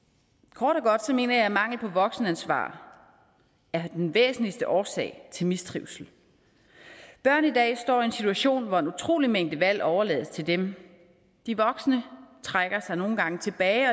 kort og godt mener jeg at mangel på voksenansvar er den væsentligste årsag til mistrivsel børn i dag står i en situation hvor en utrolig mængde valg overlades til dem de voksne trækker sig nogle gange tilbage